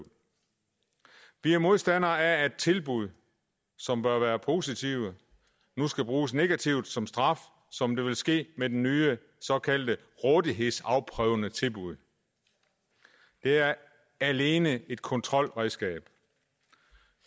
vi er modstandere af at tilbud som bør være positive nu skal bruges negativt som straf som det vil ske med det nye såkaldte rådighedsafprøvende tilbud det er alene et kontrolredskab